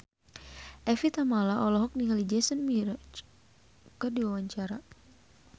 Evie Tamala olohok ningali Jason Mraz keur diwawancara